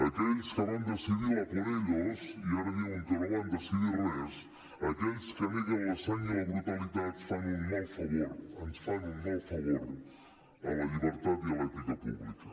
aquells que van decidir l’ a por ellosaquells que neguen la sang i la brutalitat fan un mal favor ens fan un mal favor a la llibertat i a l’ètica pública